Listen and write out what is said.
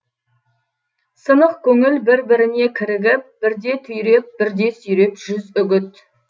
сынық көңіл бір біріне кірігіп бірде түйреп бірде сүйреп жүз үгіт